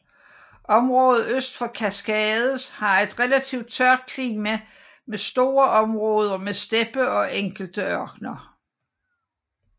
Området øst for Cascades har et relativt tørt klima med store områder med steppe og enkelte ørkener